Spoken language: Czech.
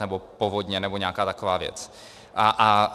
Třeba povodně nebo nějaká taková věc.